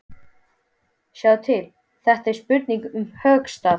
Sjáðu til, þetta er spurning um höggstað.